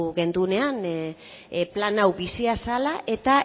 gendunean plan hau bizia zala eta